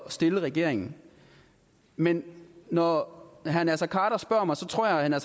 stille regeringen men når herre naser khader spørger mig tror jeg